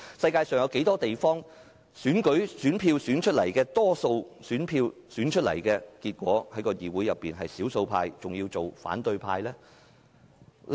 世界上有哪些地方得到大多數選票的議員會變成議會的少數派，還要成為反對派？